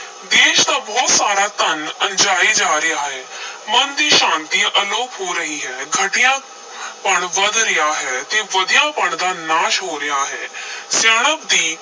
ਦੇਸ਼ ਦਾ ਬਹੁਤ ਸਾਰਾ ਧਨ ਅੰਝਾਈ ਜਾ ਰਿਹਾ ਹੈ ਮਨ ਦੀ ਸ਼ਾਂਤੀ ਅਲੋਪ ਹੋ ਰਹੀ ਹੈ, ਘਟੀਆ ਪਣ ਵਧ ਰਿਹਾ ਹੈ ਤੇ ਵਧੀਆ-ਪਣ ਦਾ ਨਾਸ਼ ਹੋ ਰਿਹਾ ਹੈ ਸਿਆਣਪ ਦੀ